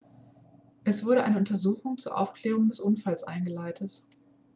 es wurde eine untersuchung zur aufklärung des unfalls eingeleitet